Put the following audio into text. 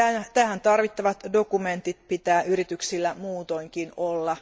Tähän tarvittavat dokumentit pitää yrityksillä muutoinkin olla.